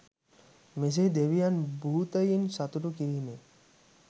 මෙසේ දෙවියන් භූතයින් සතුටු කිරීමෙන්